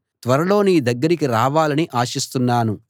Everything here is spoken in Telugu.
త్వరలో నీ దగ్గరికి రావాలని ఆశిస్తున్నాను